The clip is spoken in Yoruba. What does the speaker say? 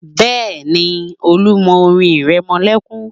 Bẹ́ẹ̀ni, Olú mọ orin ìrẹmọlẹ́kún